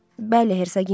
Bəli, Hersoginya.